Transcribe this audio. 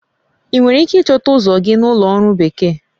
Ị nwere ike ịchọta ụzọ gị na Ụlọ Ọrụ Bekee?